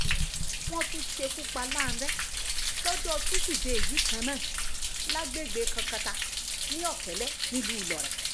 wọ́n tún ṣekú pa lánrẹ́ lọ́jọ́ tusidee yìí kan náà lágbègbè kankata sí ọ̀kẹ́lẹ́ nílùú ìlọrin